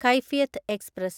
Kaifiyat express